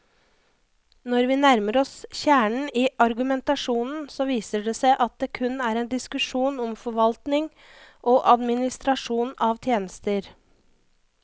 Når vi nærmer oss kjernen i argumentasjonen, så viser det seg at det kun er en diskusjon om forvaltning og administrasjon av tjenester.